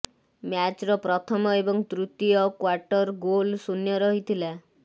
ମ୍ୟାଚ୍ର ପ୍ରଥମ ଏବଂ ତୃତୀୟ କ୍ୱାର୍ଟର ଗୋଲ୍ ଶୂନ୍ୟ ରହିଥିଲା